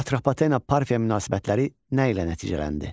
Atropatena Parfiya münasibətləri nə ilə nəticələndi?